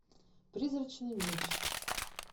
призрачный меч